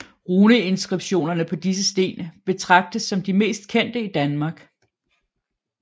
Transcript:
Runeinskriptionerne på disse sten betragtes som de mest kendte i Danmark